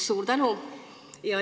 Suur tänu!